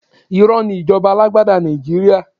Irọ́ ni ìjọba alágbádá Nàìjíríà.